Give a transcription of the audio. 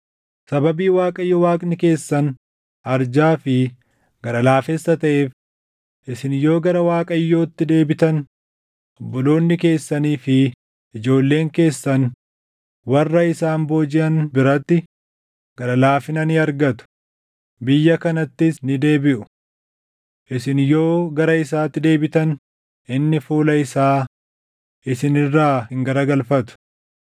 Sababii Waaqayyo Waaqni keessan arjaa fi gara laafessa taʼeef isin yoo gara Waaqayyootti deebitan obboloonni keessanii fi ijoolleen keessan warra isaan boojiʼan biratti gara laafina ni argatu; biyya kanattis ni deebiʼu. Isin yoo gara isaatti deebitan inni fuula isaa isin irraa hin garagalfatu.”